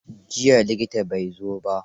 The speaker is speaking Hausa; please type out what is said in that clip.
Jiya likitan bai zo ba.